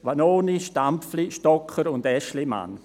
Vanoni, Stampfli, Stocker und Aeschlimann.